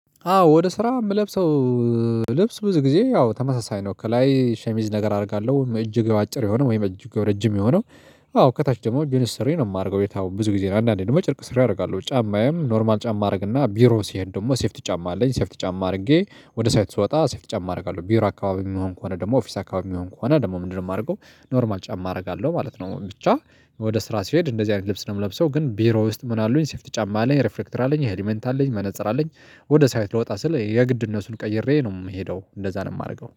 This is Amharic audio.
አዎ ወደ ስራ የምለብሰው እ ልብስ ብዙ ጊዜ ያው ተመሳሳይ ነው ከላይ ሸሚዝ ነገር አደርጋለሁ እጅጌው አጭር የሆነ ወይም እጅጌው ረጅም የሆነው። አዎ ከታች ደግሞ ጅንስ ሱሪ ነው የማደርገው የታውቀ ብዙ ጊዜ አንዳንዴ ደግሞ ጨርቅ ሱሪ አደርጋለሁ። ጫማዬም ኖርማል ጫማ አረግና ቢሮ ሲሄድ ደግሞ ሴፍቲ ጫማ አለኝ ሴፍቲ ጫማ አርጌ ወደ ሳይት ስወጣ ሴፍቲ ጫማ አረጋለሁ። ቢሮ አካባቢ የሚሆን ከሆነ ደግሞ ኦፊስ አካባቢ የሚሆን ከሆነ ደግሞ ምንድን ነው ማርገው ኖርማል ጫማ አረጋለሁ ማለት ነው። ብቻ ወደ ስራ ሲሄድ እንደዚህ አይነት ልብስ ነው የምለብሰው ግን ቢሮ ውስጥ ምን አሉኝ ሴፍቲ ጫማ አለኝ ሬፍሌክተር አለኝ ሄሊመንት አለኝ መነፀር አለኝ። ወደ ሳይት ልወጣ ስል የግድ እነሱን ቀይሬ ነው የምሄደው እንደዛ ነው የማረገው